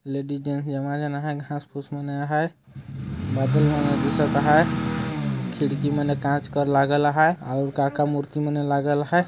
Ladies gents मन है घाँस फूस मन रहाय बादल लागा लहाय खिड़की के कांच कर लागा लहाय और काका मूर्ति बने लागा लहाय ।